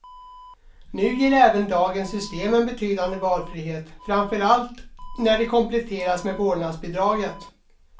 Nu ger även dagens system en betydande valfrihet, framför allt när det kompletteras med vårdnadsbidraget.